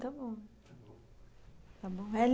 Tá bom.